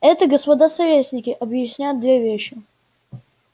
это господа советники объясняет две вещи